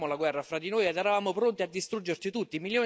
Facevamo la guerra fra di noi ed eravamo pronti a distruggerci tutti.